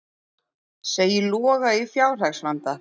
Segir Loga í fjárhagsvanda